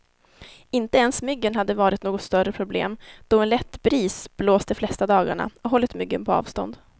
Inte ens myggen har varit något större problem, då en lätt bris blåst de flesta dagar och hållit myggen på avstånd.